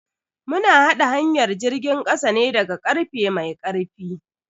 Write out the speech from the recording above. Mu na haɗa hanyar jirgin kasa ne daga karfe mai karfi.